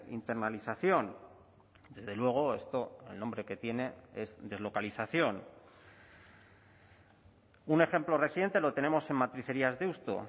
internalización desde luego esto el nombre que tiene es deslocalización un ejemplo reciente lo tenemos en matricerías deusto